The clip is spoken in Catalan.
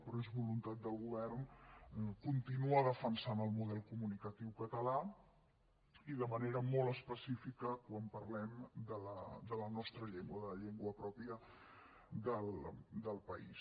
però és voluntat del govern continuar defensant el model comunicatiu català i de manera molt específica quan parlem de la nostra llengua de la llengua pròpia del país